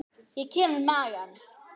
Ég kem við magann.